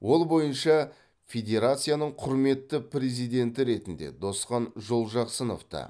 ол бойынша федерацияның құрметті президенті ретінде досхан жолжақсыновты